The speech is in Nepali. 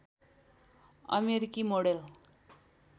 अमेरिकी मोडेल